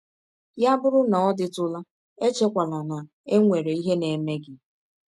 Ya bụrụ na ọ dịtụla, echekwala na e nwere ihe na - eme gị.